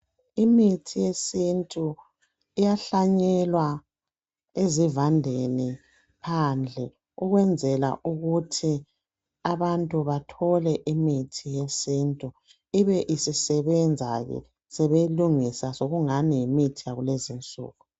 Imithi yesintu iyahlanyelwa ezivandeni phandle ukwenzela ukuthi abantu bathole imithi yesintu ibe isisebenza ke sebeyilungisa sekungani yimithi yakulezi insuku.